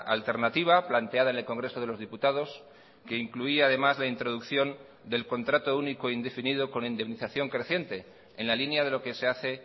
alternativa planteada en el congreso de los diputados que incluía además la introducción del contrato único indefinido con indemnización creciente en la línea de lo que se hace